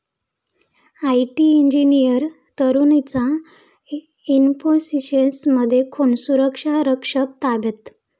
IT engineer तरुणीचा इन्फोसिसमध्ये खून, सुरक्षारक्षक ताब्यात